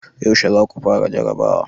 Yaushe za ku fara jarrabawa?